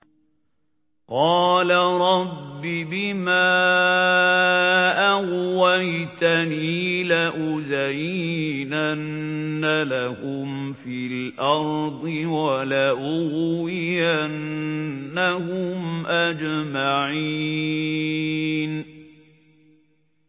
قَالَ رَبِّ بِمَا أَغْوَيْتَنِي لَأُزَيِّنَنَّ لَهُمْ فِي الْأَرْضِ وَلَأُغْوِيَنَّهُمْ أَجْمَعِينَ